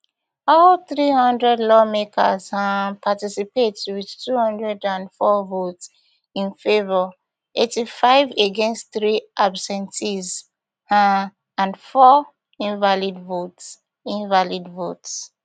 all three hundred lawmakers um participate wit two hundred and four votes in favor eighty-five against three abs ten tions um and four invalid votes invalid votes